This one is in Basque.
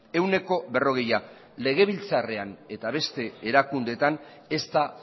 ehuneko berrogeia legebiltzarrean eta beste erakundeetan ez da